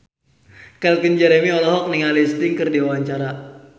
Calvin Jeremy olohok ningali Sting keur diwawancara